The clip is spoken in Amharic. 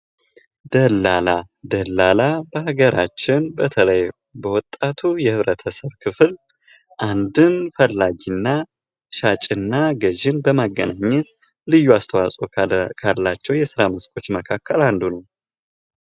ደላላ ደላላ በሃገራችን በተለይ በወጣቱ የህብረተሰብ ክፍል አንድን ፈላጊና ሻጭና ግዥን በመገናኘት ልዩ አስታዎፆ ካላቸው የስራ መስኮች መካከል አንዱ ነዉ ።